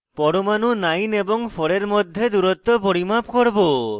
পরমাণু 9 এবং 4 এর মধ্যে দূরত্ব পরিমাপ করব